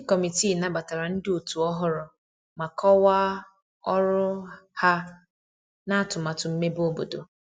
Ndi kọmitịị nabatara ndi otu ohụrụ ma kowaa ọrụ ha na atumatu mmebe obodo